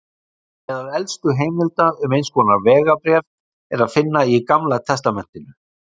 Meðal elstu heimilda um eins konar vegabréf er að finna í Gamla testamentinu.